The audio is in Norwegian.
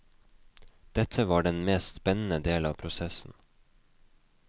Dette var den mest spennende del av prosessen.